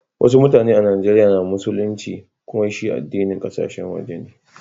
Wassu mutane a'Nijeriya na musulinci, kumma shi addinin kasashen waje ne.